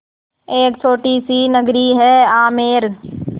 एक छोटी सी नगरी है आमेर